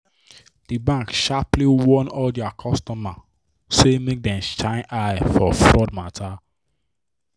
di bank sharply warn all dia customer say make dem shine eye for fraud matter.